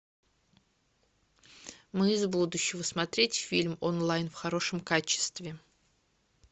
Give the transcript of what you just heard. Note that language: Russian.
мы из будущего смотреть фильм онлайн в хорошем качестве